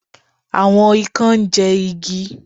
Àwon ikán ńjẹ igi.